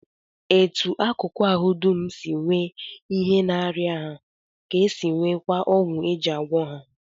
Etu akụkụ ahụ dum si nwee ihe na-arịa ha ka ha si nweekwa ọgwụ e ji agwọ ha